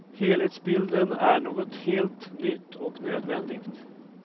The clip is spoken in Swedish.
Helhetsbilden är något helt nytt, och nödvändigt.